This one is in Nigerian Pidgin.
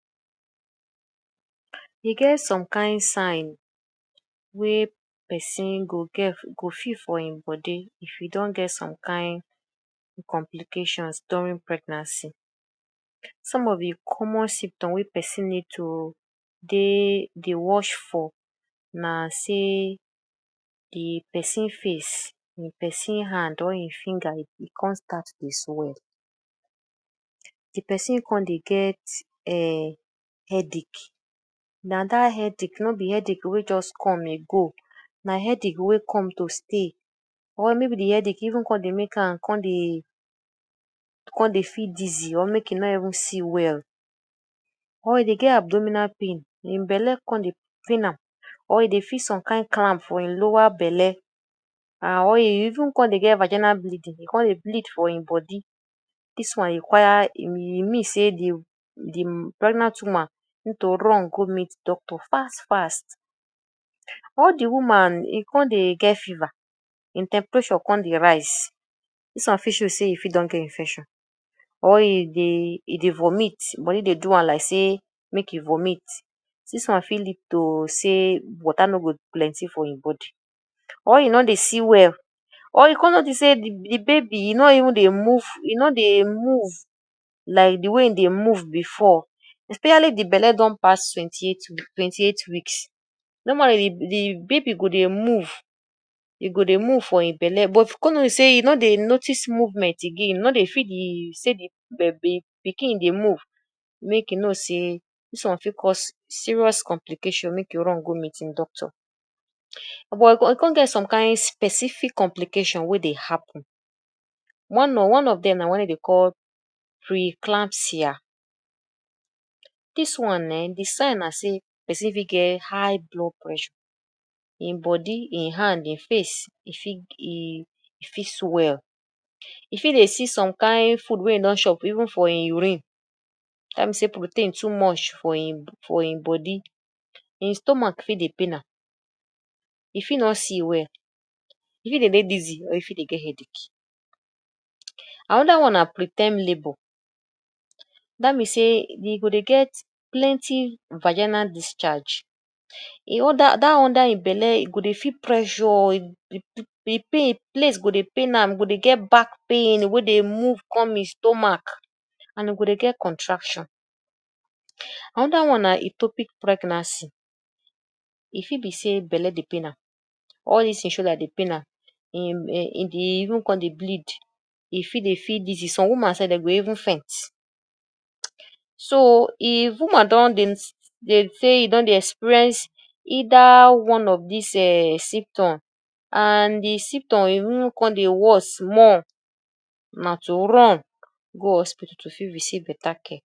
E get some kain sign wey person go get go feel for im body if e don get some kain complications during pregnancy. Some of de common symptom wey person need to dey dey watch for na sey de person face, de person hand or im finger im come start dey swell. De person come dey get um headache, na dat headache, no be headache wey just come e go na headache wey come to stay or maybe de headache even come dey make am come dey come dey feel dizzy or make e no even see well. Or e dey get abdominal pain, im belle come dey pain am or e dey feel some kain clamp for im lower belle and or e even come dey get vaginal bleeding, e come dey bleed for im body. Dis one require e e mean sey de de pregnant woman need to run go meet doctor fast fast. Or de woman e come dey get fever, im temperature come dey rise, dis one fit show sey e fit don get infection. Or e dey e dey vomit body dey do am like sey make e vomit, dis one fit lead to sey water no go plenty for im body. Or e no dey see well or e come notice sey de baby, e no even dey move e no dey move like de way e dey move before especially de belle don pass twenty eight twenty eight weeks. Normally de de baby go dey move e go dey move for im belle but if you come notice sey you no dey notice movement again e no dey feel de sey de pikin dey move make you know sey dis one fit cause some serious complication, make e run go meet im doctor. But e come get some kind specific complication wey dey happen, one of one of dem na one dey dey call pre-eclampsia. Dis one um de sign na sey person fit get high blood pressure. Im body, im hand, im face, e fit um e fit swell, e fit dey see some kind food wey e don chop even for im urine. Dat mean sey protein too much for im for im body, im stomach fit dey pain am. E fit no see well, e fit dey dey dizzy or e fit dey get headache. Another one na preterm labour. Dat mean sey e go dey get plenty vaginal discharge. Dat under im belle, e go feel pressure de place go dey pain am, e go dey get back pain, e go dey move come im stomach and e go dey get contraction. Another one na etopic pregnancy. E fit be sey belle dey pain am or e sey shoulder dey pain am, e even come dey bleed. E fit dey feel dizzy, some woman sef dey go even faint. So if woman don dey dey say e don dey experience either one of dis um symptom and de symptom e even come dey worse more na to run go hospital to fit receive better care.